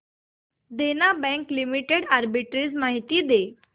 देना bank limited arbitrage माहिती दे